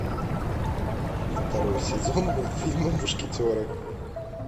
второй сезон мультфильма мушкетеры